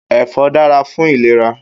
Èfò dàrá fún ilérà